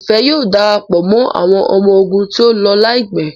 Ifẹ yíò darapọ̀ mọ́ àwọn ọmọ ogun tíó ló láìpé.